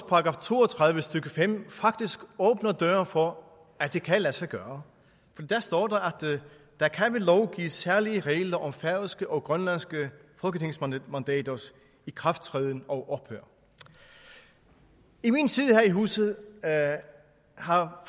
§ to og tredive stykke fem faktisk åbner døren for at det kan lade sig gøre for der står der kan ved lov gives særlige regler om færøske og grønlandske folketingsmandaters ikrafttræden og ophør i min tid her i huset har